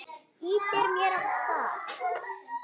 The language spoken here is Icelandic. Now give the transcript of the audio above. Ýtir mér af stað.